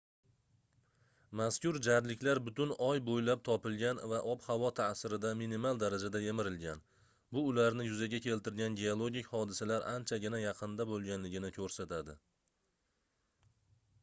mazkur jarliklar butun oy boʻylab topilgan va ob-havo taʼsirida minimal darajada yemirilgan bu ularni yuzaga keltirgan geologik hodisalar anchagina yaqinda boʻlganligini koʻrsatadi